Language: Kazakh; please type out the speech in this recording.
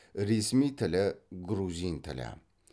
ресми тілі грузин тілі